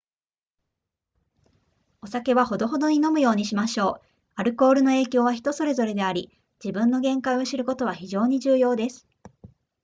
お酒はほどほどに飲むようにしましょうアルコールの影響は人それぞれであり自分の限界を知ることは非常に重要です